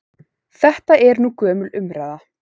Þetta er nú gömul umræða.